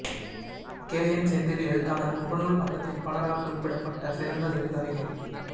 K N Senthil எழுத்தாளர் முகநூல் பக்கத்தில் பலரால் குறிப்பிடப்பட்ட சிறந்த சிறுகதைகள்